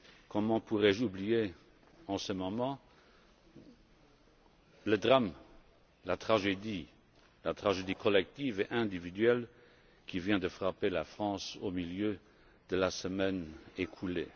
Comment pourrais je oublier en ce moment le drame, la tragédie collective et individuelle qui vient de frapper la France au milieu de la semaine écoulée.